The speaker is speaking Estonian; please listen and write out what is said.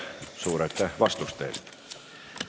Suur aitäh vastuste eest!